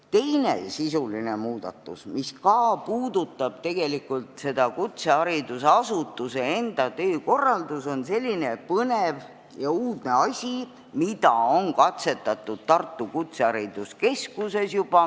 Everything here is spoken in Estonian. Teine sisuline muudatus, mis ka puudutab tegelikult seda kutseharidusasutuse enda töökorraldust, on selline põnev ja uudne asi, mida on juba katsetatud Tartu Kutsehariduskeskuses.